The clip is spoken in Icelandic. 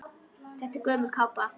Þetta er gömul kápa.